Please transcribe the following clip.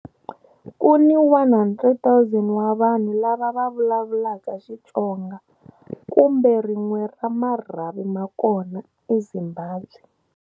Ku ni 100,000 wa vanhu lava va vulavulaka Xitsonga, kumbe rin'we ra marhavi ma kona, eZimbabwe.